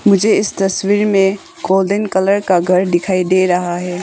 मुझे इस तस्वीर में गोल्डन कलर का घर दिखाई दे रहा है।